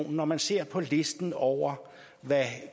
at når man ser på listen over hvad